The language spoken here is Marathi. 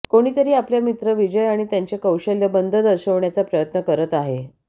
कोणीतरी आपल्या मित्र विजय आणि त्यांचे कौशल्य बंद दर्शवण्याचा प्रयत्न करत आहे